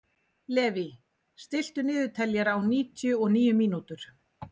Levý, stilltu niðurteljara á níutíu og níu mínútur.